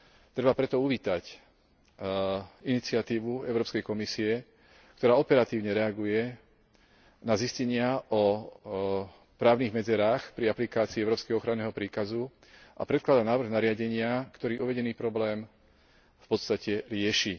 Treba preto uvítať iniciatívu Európskej komisie, ktorá operatívne reaguje na zistenia o právnych medzerách pri aplikácii európskeho ochranného príkazu a predkladá návrh nariadenia, ktorý uvedený problém v podstate rieši.